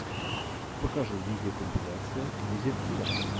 покажи видеокомпиляция дезертира